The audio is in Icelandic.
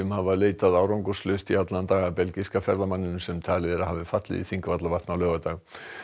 hafa leitað árangurslaust í allan dag að belgíska ferðamanninum sem talið er að hafi fallið í Þingvallavatn á laugardag